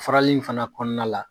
Farali in fana kɔnɔna la.